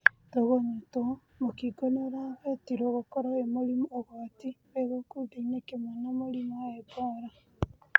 tũgunyũtwa mũkingo nĩ ũragwetirwo gũkorwo wi mũrimũũgwati wĩ gĩkundi-nĩ kĩmwe na mũrimũwa ebora.